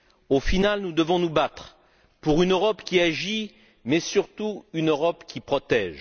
Au final, nous devons nous battre pour une Europe qui agit, mais, surtout, une Europe qui protège.